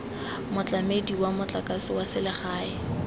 motlamedi wa motlakase wa selegae